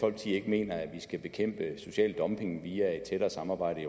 ikke mener at man skal bekæmpe social dumping via et tættere samarbejde i